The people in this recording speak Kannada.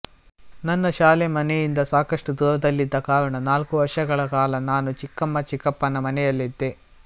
ನನ್ನ ಶಾಲೆ ಮನೆಯಿಂದ ಸಾಕಷ್ಟು ದೂರದಲ್ಲಿದ್ದ ಕಾರಣ ನಾಲ್ಕು ವರ್ಷಗಳ ಕಾಲ ನಾನು ಚಿಕ್ಕಮ್ಮ ಚಿಕ್ಕಪ್ಪನ ಮನೆಯಲ್ಲಿದ್ದೆ